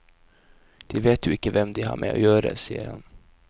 De vet jo ikke hvem de har med å gjøre, sier han.